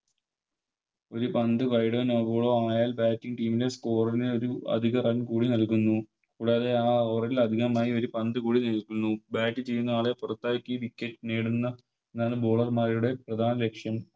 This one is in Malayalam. ഒരു പന്ത് Wide no ball ആയാൽ Bating team നെ Scorer നെ അത് അധിക Run കൂടി നൽകുന്നു കൂടാതെ ആ Over ൽ അധികമായൊരു പന്ത് കൂടി നിക്കുന്നു Bat ചെയ്യുന്ന ആളെ പുറത്താക്കി Wicket നേടുന്ന എന്നാണ് Bowler മാരുടെ പ്രധാന ലക്ഷ്യം